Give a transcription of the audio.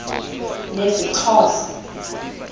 lesixhosa